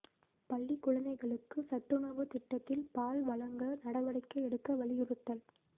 பள்ளிக் குழந்தைகளுக்கு சத்துணவுத் திட்டத்தில் பால் வழங்க நடவடிக்கை எடுக்க வலியுறுத்தல்